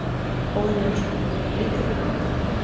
Óðinn Jónsson: Líka fyrir bankana.